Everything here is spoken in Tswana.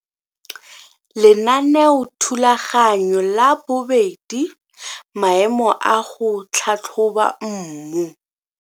Lenaneothulaganyo la 2. Maemo a go tlhatlhoba mmu